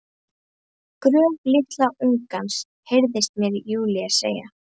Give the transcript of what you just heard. Gröf litla ungans, heyrist mér Júlía segja.